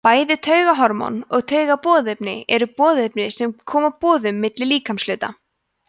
bæði taugahormón og taugaboðefni eru boðefni sem koma boðum milli líkamshluta